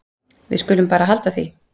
Við skulum bara halda því.